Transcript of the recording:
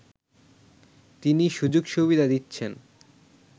তিনি সুযোগ-সুবিধা দিচ্ছেন